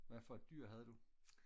hvad for et dyr havde du